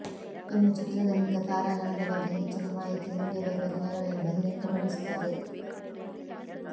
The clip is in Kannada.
ಇನ್ನು ಚಿತ್ರದ ಮಿಕ್ಕ ತಾರಾಗಣದ ಬಗ್ಗೆ ಹೆಚ್ಚಿನ ಮಾಹಿತಿ ಮುಂದೆ ಬರುವ ದಿನಗಳಲ್ಲಿ ಬಹಿರಂಗ ಪಡಿಸುತ್ತಾರೆ